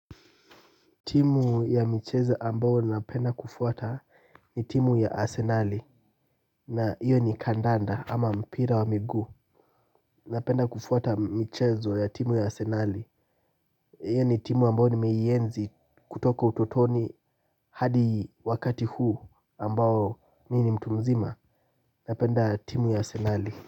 Timu ya michezo ambao napenda kufuata ni timu ya arsenali na hiyo ni kandanda ama mpira wa miguu napenda kufuata michezo ya timu ya arsenali hiyo ni timu ambao nimeienzi kutoka ututoni hadi wakati huu ambao mimi ni mtu mzima napenda timu ya arsenali.